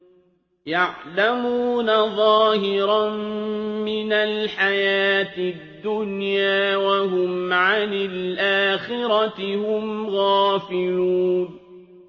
يَعْلَمُونَ ظَاهِرًا مِّنَ الْحَيَاةِ الدُّنْيَا وَهُمْ عَنِ الْآخِرَةِ هُمْ غَافِلُونَ